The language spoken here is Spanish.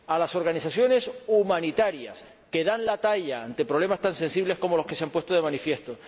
a las organizaciones humanitarias, que dan la talla ante problemas tan sensibles como los que se han puesto de manifiesto